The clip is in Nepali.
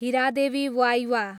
हिरादेवी वाइवा